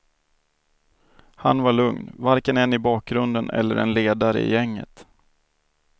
Han var lugn, varken en i bakgrunden eller en ledare i gänget.